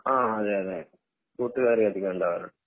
ആഹ് അതെയതെ കൂട്ടുകാർ അധികം ഉണ്ടാവാറുണ്ട്